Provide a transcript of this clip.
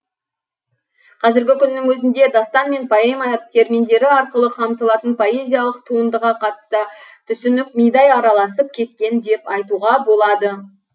қазіргі күннің өзінде дастан мен поэма терминдері арқылы қамтылатын поэзиялық туындыға қатысты түсінік мидай араласып кеткен деп айтуға болады